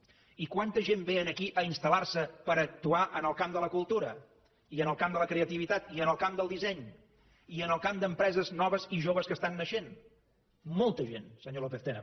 i quanta gent ve aquí a installar se per actuar en el camp de la cultura i en el camp de la creativitat i en el camp del disseny i en el camp d’empreses noves i joves que estan naixent molta gent senyor lópez tena